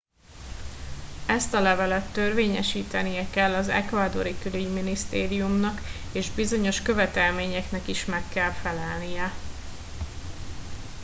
ezt a levelet törvényesítenie kell az ecuadori külügyminisztériumnak és bizonyos követelményeknek is meg kell felelnie